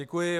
Děkuji.